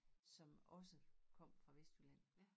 Som også kom fra Vestjylland